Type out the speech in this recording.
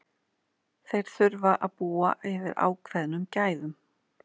Þeir þurfa að búa yfir ákveðnum gæðum.